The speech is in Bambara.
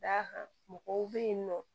Da kan mɔgɔw be yen nɔ